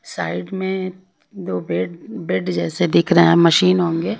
Side में दो bed bed जैसे दिख रहा है मशीन होंगे।